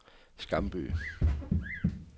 Skamby